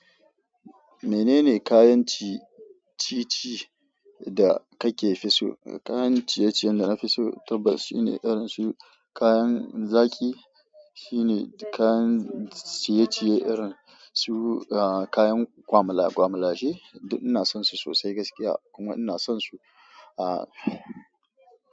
Menene kayan ci- ci-ci da kake fi so? Kayan ciye-ciyen da na fi so, tabbas shine irin su kayan zaƙi, shine kayan ciye-ciye irin su kayan ƙwamala-ƙwamalashe. Duk ina son su sosai gaskiya kuma ina son su a.